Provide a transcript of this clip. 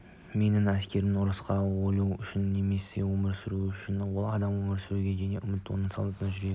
менің әскери ұрысқа өлу үшін емес өмір сүру үшін барады ал өмір сүруге деген үміт оты солдаттың жүрегін